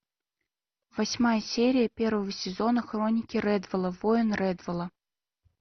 восьмая серия первого сезона хроники рэдволла воин рэдволла